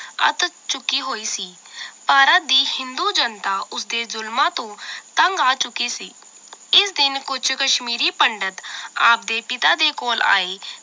ਅੱਤ ਚੁੱਕੀ ਹੋਈ ਸੀ ਭਾਰਤ ਦੀ ਹਿੰਦੂ ਜਨਤਾ ਉਸ ਦੇ ਜ਼ੁਲਮਾਂ ਤੋਂ ਤੰਗ ਆ ਚੁੱਕੀ ਸੀ ਇਸ ਦਿਨ ਕੁਛ ਕਸ਼ਮੀਰੀ ਪੰਡਿਤ ਆਪ ਦੇ ਪਿਤਾ ਦੇ ਕੋਲ ਆਏ